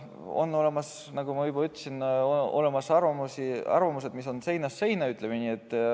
On olemas, nagu ma juba ütlesin, arvamused, mis on seinast seina, ütleme nii.